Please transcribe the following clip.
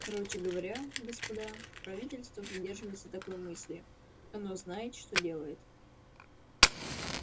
короче говоря господа правительство придерживается такой мысли оно знает что делает